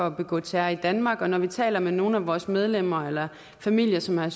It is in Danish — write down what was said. at begå terror i danmark og når vi taler med nogle af vores medlemmer eller familier som er